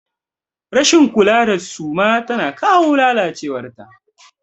Rashin kula da suma tana kawo lalacewar ta.